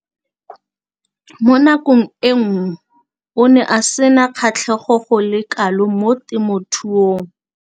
Mo nakong eo o ne a sena kgatlhego go le kalo mo temothuong.